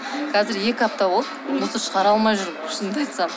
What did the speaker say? қазір екі апта болды мусор шығара алмай жүрмін шынымды айтсам